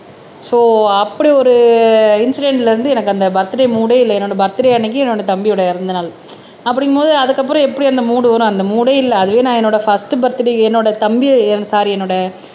so அப்படி ஒரு இன்சிடென்ட்ல இருந்து எனக்கு அந்த பர்த்டே மூடே இல்ல என்னோட பர்த்டே அன்னைக்கு என்னோட தம்பியோட இறந்த நாள் அப்படிங்கும்போது அதுக்கப்புறம் எப்படி அந்த மூட் வரும் அந்த மூடே இல்ல அதுவே நான் என்னோட ஃபர்ஸ்ட் பர்த்டே என்னோட தம்பி சாரி என்னோட